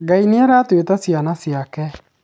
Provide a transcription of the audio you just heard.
ngai nĩaratũĩta ciana ciake